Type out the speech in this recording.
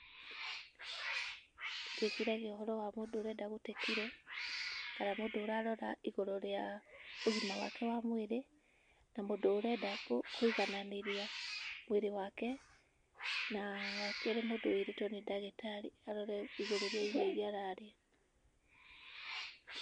Ndĩciragia ũhoro wa mũndũ ũrenda gũte kiro kana mũndũ ũrarora igũrũ rĩa ũgima wake wa mwĩrĩ na mũndũ ũrenda kũigananĩria mwĩrĩ wake. Na wakerĩ mũndũ wĩrĩtwo nĩ ndagĩtarĩ arore igũrũ rĩa irio iria ararĩa.